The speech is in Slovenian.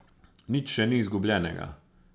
Nič še ni izgubljenega.